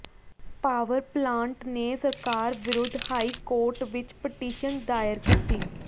power plant ਨੇ ਸਰਕਾਰ ਵਿਰੁੱਧ ਹਾਈ ਕੋਰਟ ਵਿੱਚ ਪਟੀਸ਼ਨ ਦਾਇਰ ਕੀਤੀ